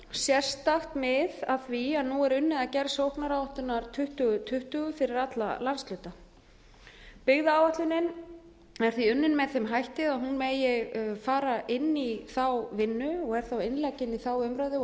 sérstakt mið af því að nú er unnið að gerð sóknaráætlunar tuttugu tuttugu fyrir alla landshluta byggðaáætlunin er því unnin með þeim hætti að hún megi fara inn í þá vinnu og þá innlegg inn í þá umræðu og